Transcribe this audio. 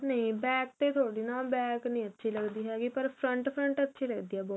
ਨਹੀਂ back ਤੇ ਥੋੜੀ ਨਾ back ਨਹੀਂ ਅੱਛੀ ਲੱਗਦੀ ਹੈਗੀ ਪਰ front front ਅੱਛੀ ਲੱਗਦੀ ਬਹੁਤ